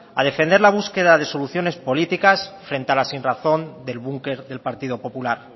a defender la búsqueda de soluciones políticas frente a la sinrazón del bunker del partido popular